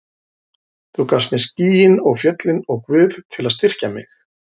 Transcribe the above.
Þú gafst mér skýin og fjöllin og Guð til að styrkja mig.